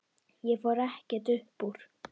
Ég fór ekkert upp úr.